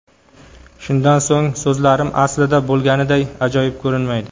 Shundan so‘ng so‘zlarim aslida bo‘lganiday ajoyib ko‘rinmaydi.